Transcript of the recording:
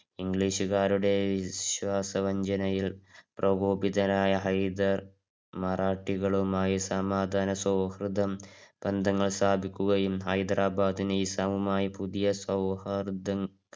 ഇംഗ്ലീഷുകാരുടെ ഈ വിശ്വാസവഞ്ചനയിൽ പ്രകോപിതാരായ ഹൈദർ മറാഠികളുമായി സമാധാനസൗഹൃദം ബന്ധങ്ങൾ സ്ഥാപിക്കുകയും ഹൈദരാബാദിനെ നൈസാമുമായി പുതിയ സൗഹൃദങ്ങൾ